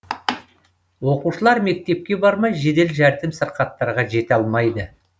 оқушылар мектепке бармай жедел жәрдем сырқаттарға жете алмайды